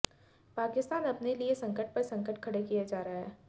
पाकिस्तान अपने लिए संकट पर संकट खड़े किए जा रहा है